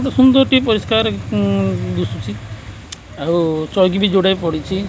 ଉଁ ସୁନ୍ଦର୍ ଟି ପରିଷ୍କାର ଉଁ ଦୁଶୁଚି ଆଉ ଚଉକି ବି ଯୋଡାଏ ପଡିଚି।